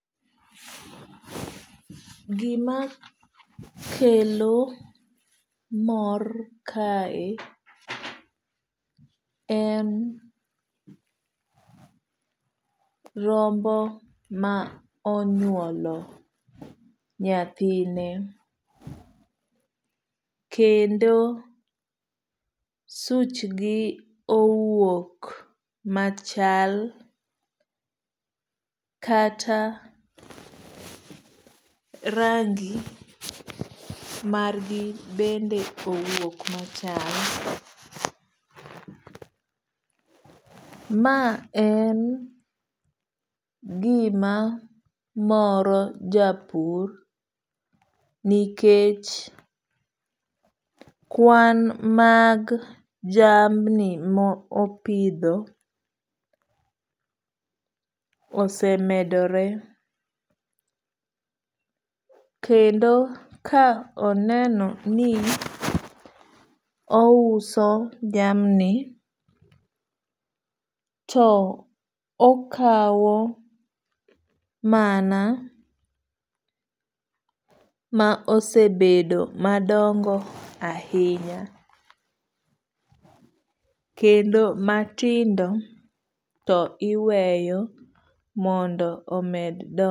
Gima kelo mor kae en rombo ma onyuolo nyathine kendo such gi owuok machal kata rangi mar gi bende owuok machal. Ma en gima moro japur nikech kwan mag jamni ma opidho osemedore. Kendo ka oneno ni ouso jamni to okaw mana ma osebedo madongo ahinya. Kendo matindo to iweyo mondo omed.